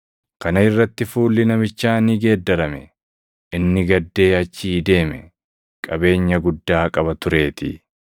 Kana irratti fuulli namichaa ni geeddarame. Inni gaddee achii deeme; qabeenya guddaa qaba tureetii.